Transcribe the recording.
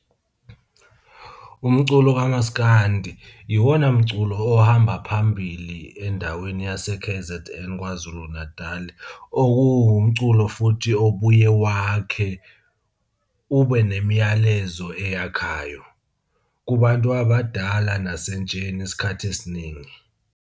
Umculo kamaskandi iwona mculo ohamba phambili endaweni yase-K_Z_N KwaZulu Natali. Okuwumculo futhi obuye wakhe, ube nemiyalezo eyakhayo kubantu abadala nasentsheni isikhathi esiningi.